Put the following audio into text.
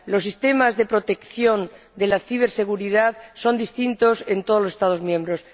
Los sistemas de protección de la ciberseguridad son distintos en todos los Estados miembros.